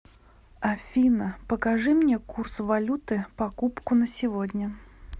афина покажи мне курс валюты покупку на сегодня